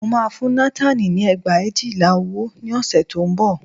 Mo máa fún Nátánì ní ẹgbẹ̀éjìlá owó ní ọ̀sẹ̀ tí ó ń bọ̀